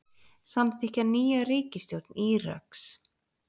Samþykkja nýja ríkisstjórn Íraks